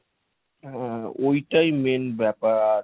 হ্যাঁ ঐ টাই main ব্যাপার।